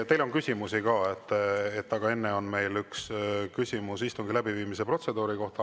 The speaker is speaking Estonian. Teile on küsimusi ka, aga enne on meil üks küsimus istungi läbiviimise protseduuri kohta.